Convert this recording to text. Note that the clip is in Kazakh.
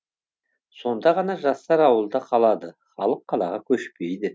сонда ғана жастар ауылда қалады халық қалаға көшпейді